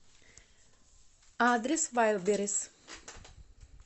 адрес вайлдберрис